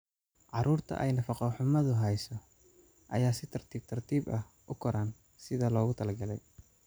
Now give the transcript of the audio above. Carruurta ay nafaqo-xumadu hayso ayaa si tartiib tartiib ah u koraan sidii loogu talagalay.